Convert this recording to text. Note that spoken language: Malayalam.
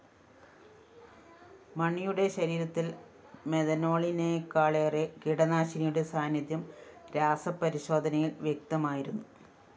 മണിയുടെ ശരീരത്തില്‍ മെഥനോളിനേക്കാളേറെ കീടനാശിനിയുടെ സാന്നിധ്യം രാസപരിശോധനയില്‍ വ്യക്തമായിരുന്നു